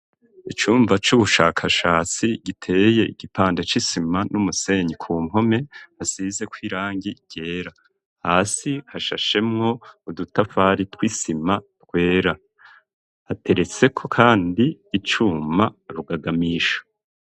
Icumba c'ubushakashatsi giteye igipande c'isima n'umusenyi ku mpome hasizeko irangi ryera, hasi hashashemwo udutafari tw'isima twera, hateretseko kandi icuma rugagamisho.